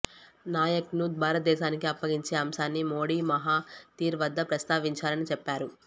నాయక్ను భారతదేశానికి అప్పగించే అంశాన్ని మోడీ మహాతిర్ వద్ద ప్రస్తావించారని చెప్పారు